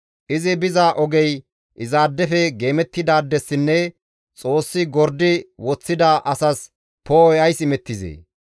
Izi biza ogey izaadefe geemettidaadessinne Xoossi gordi woththida asas poo7oy ays imettizee?